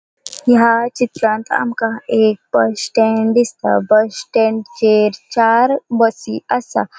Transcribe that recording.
या चित्रान आमका एक बस स्टॅन्ड दिसता बस स्टॅन्डचेर चार बसी आसा.